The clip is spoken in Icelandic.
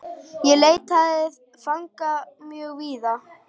Ég leitaði fanga mjög víða.